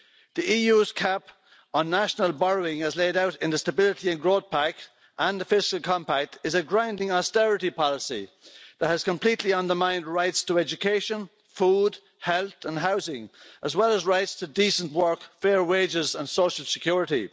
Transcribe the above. The EU's cap on national borrowing, as laid out in the Stability and Growth Pact and the Fiscal Compact, is a grinding austerity policy that has completely undermined rights to education, food, health and housing, as well as rights to decent work, fair wages and social security.